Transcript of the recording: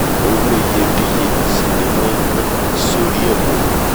owó iyebíye sì ni wọ́n nán s’órí ẹ̀ pẹ̀lú